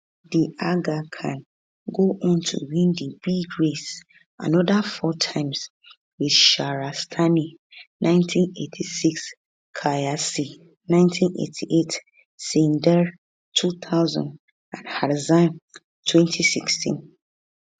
the aga khan go on to win di big race another four times with shahrastani 1986 kahyasi 1988 sinndar 2000 and harzand 2016